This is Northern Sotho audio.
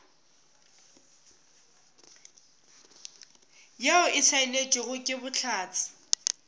yeo e saenetšwego ke bohlatse